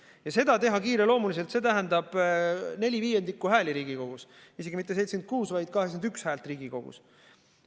Ja kui seda teha kiireloomuliselt, siis see tähendaks neli viiendikku hääli Riigikogus, isegi mitte 76, vaid 81 häält Riigikogus.